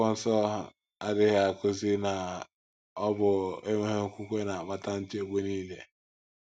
Akwụkwọ nsọ adịghị akụzi na ọ bụ enweghị okwukwe na - akpata nchegbu nile.